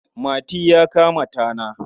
Mati ya kama tana.